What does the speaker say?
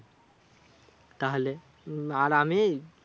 তাহলে উম আর আমি?